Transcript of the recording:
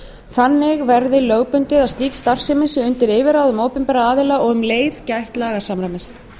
þannig verði lögbundið að slík starfsemi sé undir yfirráðum opinberra aðila og um leið að gætt sé lagasamræmis